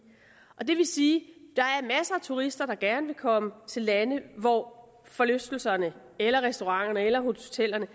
er det vil sige at turister der gerne vil komme til lande hvor forlystelserne eller restauranterne eller hotellerne